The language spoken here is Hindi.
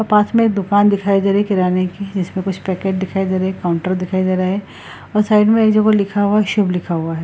और पास मे एक दुकान दिखाई दे रहा है किराने की है जिसमे कुछ पैकेट दिखाई दे रहा है एक काउन्टर दिखाई दे रहा है और साइड मे एक जगह लिखा हुआ है शिव लिखा हुआ है।